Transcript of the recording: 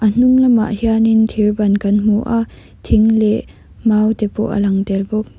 a hnung lamah hianin thir ban kan hmu a thing leh mau te pawh a lang tel bawk.